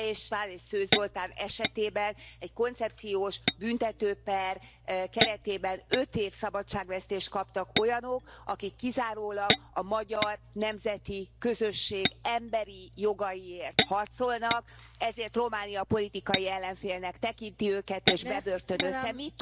Beke és Szőcs Zoltán esetében egy koncepciós büntető per keretében öt év szabadságvesztést kaptak olyanok, akik kizárólag a magyar nemzeti közösség emberi jogaiért harcolnak, ezért Románia politikai ellenfélnek tekinti és bebörtönözte őket.